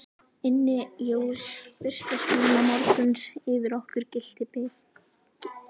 Inni jós fyrsta skíma morguns yfir okkur gylltu bliki.